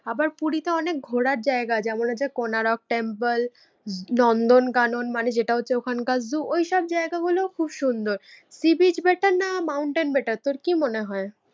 আবার পুরীতে অনেক ঘোরার জায়গা আছে, যেমন হচ্ছে কোনারক টেম্পল, নন্দন কানন মানে যেটা হচ্ছে ওখানকার zoo, ঐসব জায়গা গুলো খুব সুন্দর। sea beach better না mountain better তোর কি মনে হয়?